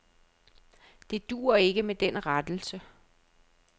Det duer ikke med den rettelse.